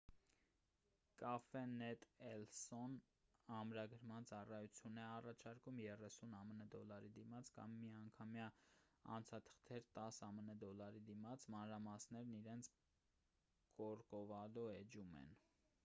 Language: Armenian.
cafenet el so-ն ամրագրման ծառայություն է առաջարկում 30 ամն դոլարի դիմաց կամ միանգամյա անցաթղթեր 10 ամն դոլարի դիմաց մանրամասներն իրենց կորկովադո էջում են: